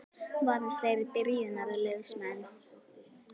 Verða þeir byrjunarliðsmenn?